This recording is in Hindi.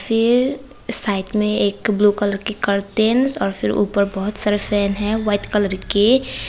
ये साइड में एक ब्लू कलर की कर्टेन हैं और फिर ऊपर बहोत सारे फैन है वाइट कलर के।